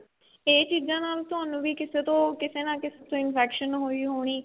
ਇਹ ਚੀਜ਼ਾ ਨਾਲ ਤੁਹਾਨੂੰ ਵੀ ਕਿਸੇ ਤੋਂ ਕਿਸੇ ਨਾ ਕਿਸੇ ਤੋ infection ਹੋਈ ਹੋਣੀ